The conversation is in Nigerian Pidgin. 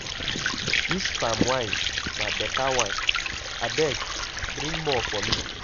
Dis palm wine na beta one, abeg bring more for me.